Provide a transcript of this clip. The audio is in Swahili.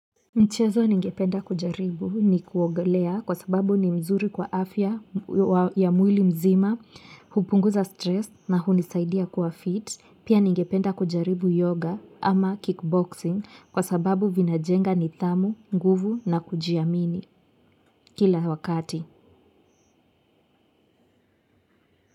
Mchezo ningependa kujaribu ni kuogelea kwa sababu ni mzuri kwa afya ya mwili mzima, hupunguza stress na hunisaidia kuwa fit, pia ningependa kujaribu yoga ama kickboxing kwa sababu vinajenga nidhamu, nguvu na kujiamini kila wakati.